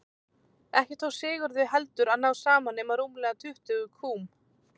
Ekki tókst Sigurði heldur að ná saman nema rúmlega tuttugu kúm.